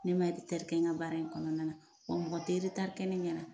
Ne ma eretari kɛ n ka baara in kɔnɔna na wa mɔgɔ te eretari kɛ ne ɲɛna